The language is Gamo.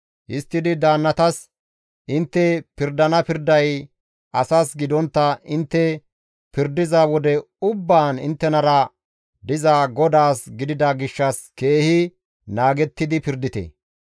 Histtidi daannatas, «Intte pirdana pirday asas gidontta intte pirdiza wode ubbaan inttenara diza GODAAS gidida gishshas keehi naagettidi pirdite.